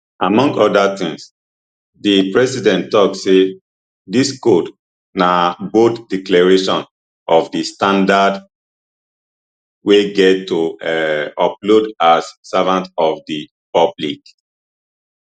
among oda tins di president tok say dis code na bold declaration of di standards we get to um uphold as servants of di public